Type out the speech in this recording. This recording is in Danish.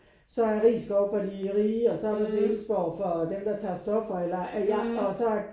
Så er Risskov for de rige og så er Marselisborg for dem der tager stoffer eller ja og så